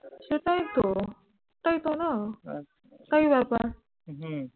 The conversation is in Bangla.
সেটাই তো। সেটাই তো না? এটাই ব্যাপার